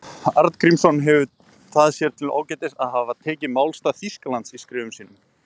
Arngrímsson hefur það sér til ágætis að hafa tekið málstað Þýskalands í skrifum sínum.